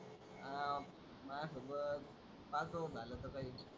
हा माझ्यासोबत पाहतो झालं तर काही.